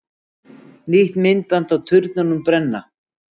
Nýtt myndband af turnunum brenna